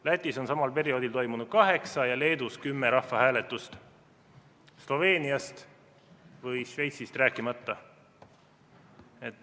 Lätis on samal perioodil toimunud kaheksa ja Leedus kümme rahvahääletust, Sloveeniast või Šveitsist rääkimata.